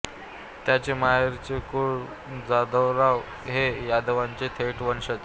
त्यांचे माहेरचे कुळ जाधवराव हे यादवांचे थेट वंशज